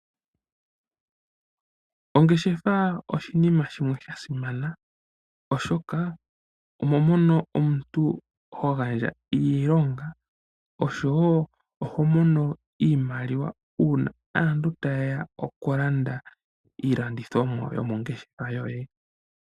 Ongeshefa oshinima shimwe sha simana, oshoka omo mono omuntu ho gandja iilonga osho woo oho monomo iimaliwa uuna aantu ta ye ya okulanda iilandithomwa yomongeshefa yoye.